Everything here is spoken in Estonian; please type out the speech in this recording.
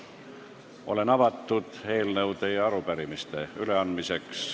Olen avatud eelnõude ja arupärimiste üleandmisele.